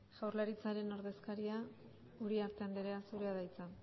jaurlaritzaren ordezkaria uriarte andrea zurea da hitza